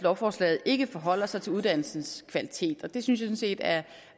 lovforslaget ikke forholder sig til uddannelsens kvalitet og det synes jeg sådan set er